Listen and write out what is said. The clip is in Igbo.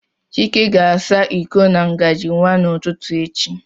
Chike ga-asa iko na ngajị nwa n'ụtụtụ echi